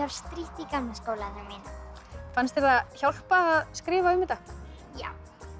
strítt í gamla skólanum mínum fannst þér það hjálpa að skrifa um þetta já